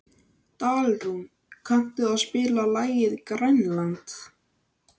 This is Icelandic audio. Dalrún, kanntu að spila lagið „Grænland“?